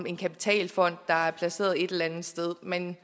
en kapitalfond der er placeret et eller andet sted men